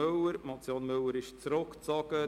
Die Motion Müller wurde zurückgezogen.